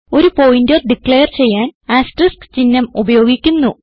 ഒരു pointer declare ചെയ്യാൻ asterisk ചിഹ്നം ഉപയോഗിക്കുന്നു